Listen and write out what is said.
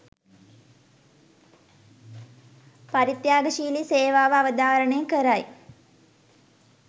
පරිත්‍යාගශීලී සේවාව අවධාරණය කරයි.